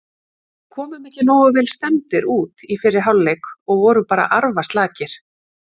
Við komum ekki nógu vel stemmdir út í fyrri hálfleik og vorum bara arfaslakir.